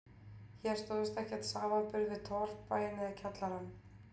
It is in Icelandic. Hér stóðst ekkert samanburð við torfbæinn eða kjallarann